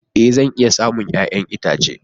Ee! Zan iya samun 'ya'yan itace.